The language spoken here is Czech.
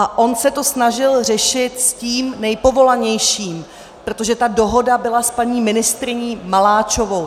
A on se to snažil řešit s tím nejpovolanějším, protože ta dohoda byla s paní ministryní Maláčovou.